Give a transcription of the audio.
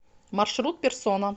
маршрут персона